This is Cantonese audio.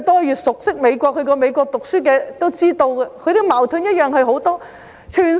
越熟悉美國及曾在美國唸書的人也知道他們的矛盾同樣很多。